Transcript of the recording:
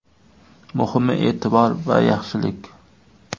Muhimi e’tibor va yaxshilik.